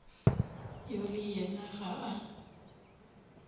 yo le yena ga a